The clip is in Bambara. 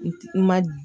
I ma